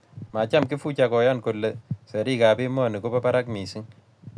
macham Kifuja koyan kole serikak emoni kobo barak mising